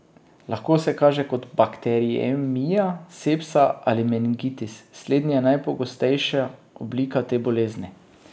Lahko se kaže kot bakteriemija, sepsa ali meningitis, slednji je najpogostejša oblika te bolezni.